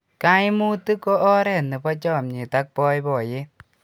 kaimutiet ko oret nebo chamiet ak baibaiet